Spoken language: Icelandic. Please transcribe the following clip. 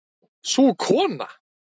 Sú kona